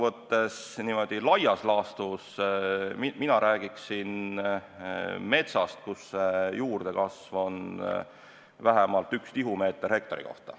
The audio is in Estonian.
Aga niimoodi laias laastus räägiksin mina metsast siis, kui juurdekasv on vähemalt 1 tihumeeter hektari kohta.